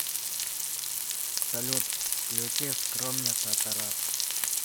салют включи скромница тарас